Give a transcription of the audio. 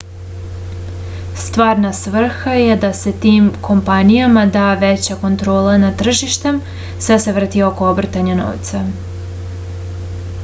stvarna svrha je da se tim kompanijama da veća kontrola nad tržištem sve se vrti oko obrtanja novca